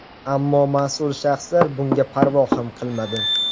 Ammo mas’ul shaxslar bunga parvo ham qilmadi.